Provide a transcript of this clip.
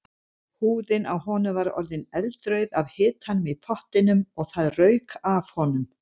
Húðin á honum var orðin eldrauð af hitanum í pottinum og það rauk af honum.